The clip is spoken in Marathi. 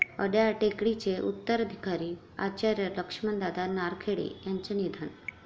अड्याळ टेकडी चे उत्तराधिकारी आचार्य लक्ष्मणदादा नारखेडे यांचं निधन